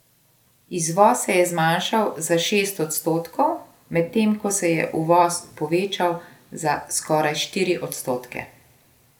Izvoz se je zmanjšal za šest odstotkov, medtem ko se je uvoz povečal za skoraj štiri odstotke.